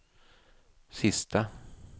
sista